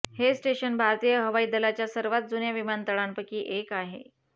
हे स्टेशन भारतीय हवाई दलाच्या सर्वात जुन्या विमानतळांपैकी एक आहे